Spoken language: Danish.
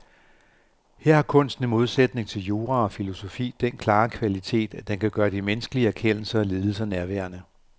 Her har kunsten i modsætning til jura og filosofi den klare kvalitet, at den kan gøre de menneskelige erkendelser og lidelser nærværende.